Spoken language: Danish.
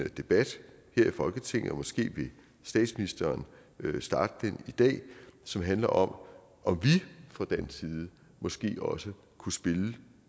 debat her i folketinget og måske vil statsministeren starte den i dag som handler om om vi fra dansk side måske også kunne spille